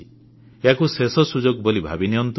ୟାକୁ ଶେଷ ସୁଯୋଗ ବୋଲି ଭାବିନିଅନ୍ତୁ